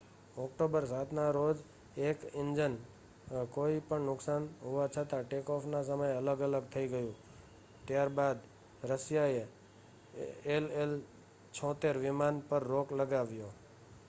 October 7 ના રોજે એક ઈન્જીન કોઈ પણ નુકસાન હોવા છતાં ટેક-ઓફ ના સમયે અલગ થઈ ગયુ ત્યારબાદ રશિયાએ ii-76 વિમાન પર રોક લગાવ્યો